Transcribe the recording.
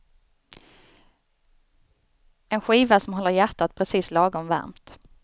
En skiva som håller hjärtat precis lagom varmt.